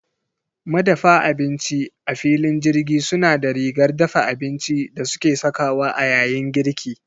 Madafa abinci a filin jirgi suna da rigar dafa abinci da suke sakawa a yayin girki.